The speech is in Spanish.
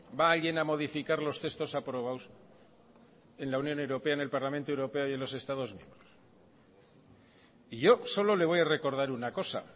va a alguien a modificar los textos aprobados en la unión europea en el parlamento europeo y en los estados miembros y yo solo le voy a recordar una cosa